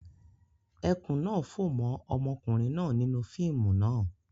Ẹkùn náa fó mọ́ ọmọkùnrin náà nínú fíìmù náà.